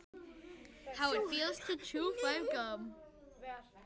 Sú hugmynd sýnir sig vera tvíeggjaða.